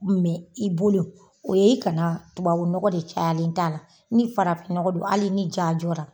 i bolo o ye kana tubabu nɔgɔ de caya ale da la, ni farafinɔgɔ don hali ni ja jɔra.